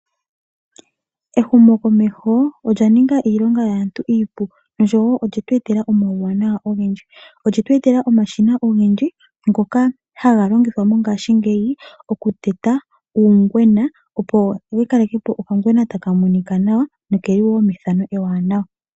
Ehumokomeho olya ninga iilonga yaantu iipu noshowo olye tu etela omauwanawa ogendji. Olye tu etela omashina ngoka haga longithwa mongaashingeyi okuteta uungwena , opo yikalekepo okangwena taka monika nawa nokeli wo mefano ewanawa.